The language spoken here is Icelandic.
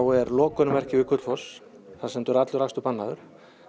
er lokunarmerki við Gullfoss það stendur allur akstur bannaður